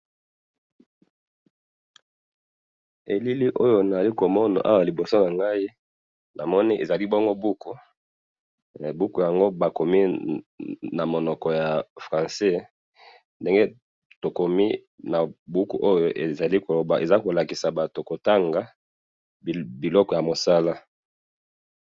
Elili oyo nazali komona bongo liboso nangayi, namoni ezali bongo buku, buku yango bakomi namunoko ya français, ndenge tokomi nabuku oyo, eza yakolakisa batu kotanga biloko yakusala